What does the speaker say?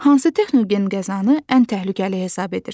Hansı texnogen qəzanı ən təhlükəli hesab edirsən?